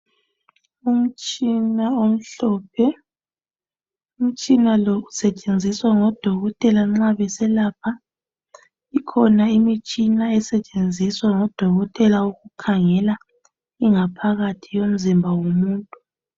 Umtshina omhlophe , umtshina lo usetshenziswa ngodokotela nxa beselapha , ikhona imitshina esetshenziswa ngudokotela ukukhangela ingaphakathi yomzimba womuntu